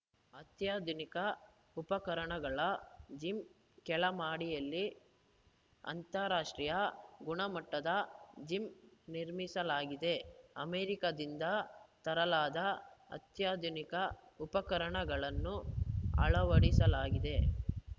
ಅತ್ಯಾಧುನಿಕ ಉಪಕರಣಗಳ ಜಿಮ್‌ ಕೆಳ ಮಡಿಯಲ್ಲಿ ಅಂತಾರಾಷ್ಟ್ರೀಯ ಗುಣಮಟ್ಟದ ಜಿಮ್‌ ನಿರ್ಮಿಸಲಾಗಿದೆ ಅಮೆರಿಕದಿಂದ ತರಲಾದ ಅತ್ಯಾಧುನಿಕ ಉಪಕರಣಗಳನ್ನು ಅಳವಡಿಸಲಾಗಿದೆ